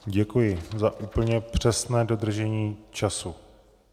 Děkuji za úplně přesné dodržení času.